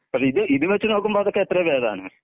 ഇപ്പോ ഇത് ഇത് വെച്ച് നോക്കുമ്പോ അതൊക്കെ എത്രെയോ ഭേദാണ്.